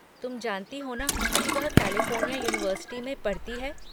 तुम जानती हो ना कि वह कैलिफ़ोर्निया युनिवर्सिटी में पढ़ती है।